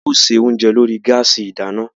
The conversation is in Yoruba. A ó ṣe oúnjẹ lórí gáàsì ìdáná